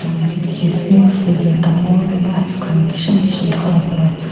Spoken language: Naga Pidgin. edu dikhiase freezer dangor tae icecream kishim kishim colour .